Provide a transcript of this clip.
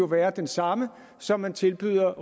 være den samme som man tilbyder